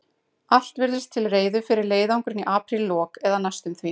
Allt virtist til reiðu fyrir leiðangurinn í apríllok, eða næstum því.